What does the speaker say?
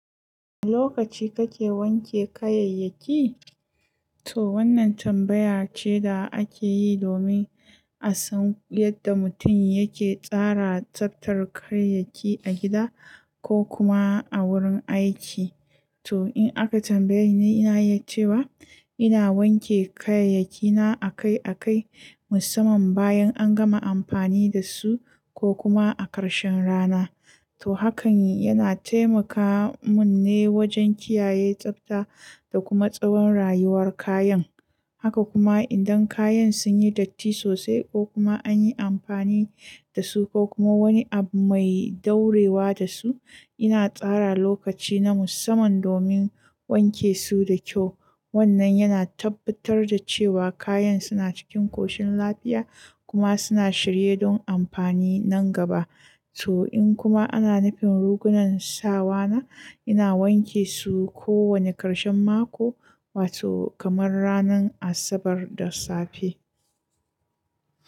Lokaci kake wanke kayayyaki? To wannan tambaya ce da ake yi domin a san yadda mutum yake tsara tsaftar kayayyaki a gida ko kuma a wurin aiki. To in aka tambaye ni, ina iya cewa ina wanke kayayyakina akai akai, musamman bayan an gama amfani da su ko kuma a karshen rana. To hakan yana taimaka mini wajen kiyaye tsafta da kuma tsawon rayuwar kayan. Haka kuma idan kayan sun yi datti sosai ko kuma an yi amfani da su ko kuma wani abu mai ɗorewa da su, ina tsara lokaci na musamman domin wanke su da kyau. Wannan yana tabbatar da cewa kayan suna cikin koshin lafiya kuma suna shirye don amfani nan gaba. To in kuma ana nufin rigunan sawana, ina wanke su kowane karshen mako, wato kamar ranar Asabar da safe.